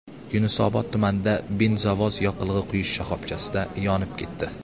Yunusobod tumanida benzovoz yoqilg‘i quyish shoxobchasida yonib ketdi .